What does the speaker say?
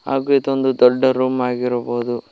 ಹಾಗು ಇದೊಂದು ದೊಡ್ಡ ರೂಮ್ ಆಗಿರಬಹುದು.